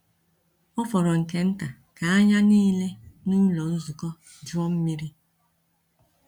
Ọ fọrọ nke nta ka anya niile n’ụlọ nzukọ juo mmiri.